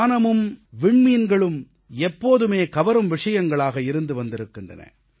வானமும் விண்மீன்களும் எப்போதுமே குழந்தைகளைக் கவரும் விஷயங்களாக இருந்து வந்திருக்கின்றன